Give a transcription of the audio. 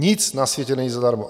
Nic na světě není zadarmo.